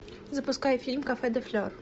запускай фильм кафе де флор